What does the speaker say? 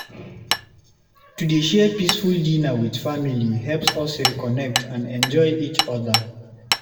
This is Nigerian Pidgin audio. To dey share peaceful dinner with family helps us reconnect and enjoy each other.